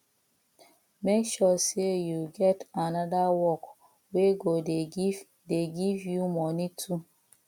mek sure sey yu get anoda work wey go dey giv dey giv yu moni too